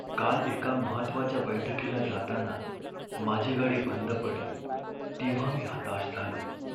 काल एका महत्त्वाच्या बैठकीला जाताना माझी गाडी बंड पडली तेव्हा मी हताश झालो.